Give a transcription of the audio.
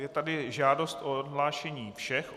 Je tady žádost o odhlášení všech.